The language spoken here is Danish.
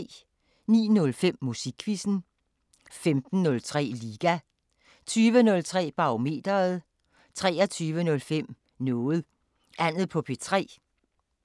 09:05: Musikquizzen 15:03: Liga 20:03: Barometeret 23:05: Noget Andet på P3